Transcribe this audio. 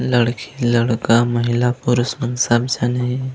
लड़की -लड़का महिला-पुरुष मन सब झन हे।